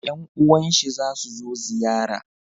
yan uwan shi za su zo ziyara